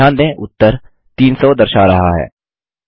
ध्यान दें उत्तर 300 दर्शा रहा है